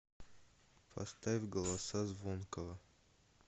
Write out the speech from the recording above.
поставь голоса звонкого